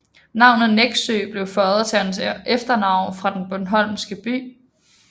Navnet Nexø blev føjet til hans efternavn fra den bornholmske by